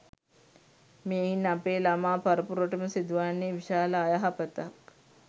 මෙයින් අපේ ළමා පරපුරටම සිදුවන්නේ විශාල අයහපතක්.